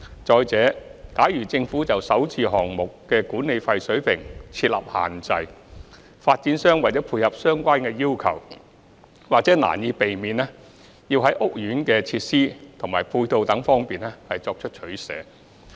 再者，假如政府就首置項目的管理費水平設立限制，發展商為了配合相關要求，或難以避免要在屋苑的設施及配套等方面作取捨。